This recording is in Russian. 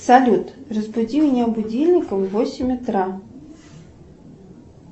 салют разбуди меня будильником в восемь утра